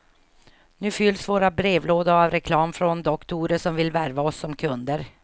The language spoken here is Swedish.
Nu fylls våra brevlådor av reklam från doktorer som vill värva oss som kunder.